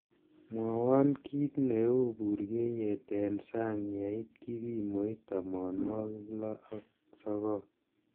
mwowon kiit neu burgeiyet en sang' yeit kipimoit tomonwogik loo ak sogol